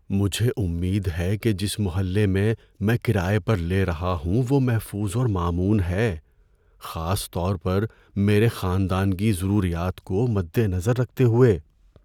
‏مجھے امید ہے کہ جس محلے میں میں کرایہ پر لے رہا ہوں وہ محفوظ اور مامون ہے، خاص طور پر میرے خاندان کی ضروریات کو مدنظر رکھتے ہوئے۔